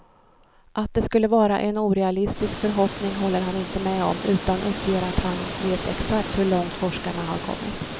Att det skulle vara en orealistisk förhoppning håller han inte med om, utan uppger att han vet exakt hur långt forskarna har kommit.